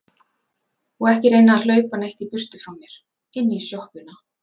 Og ekki reyna að hlaupa neitt í burtu frá mér. inn í sjoppuna!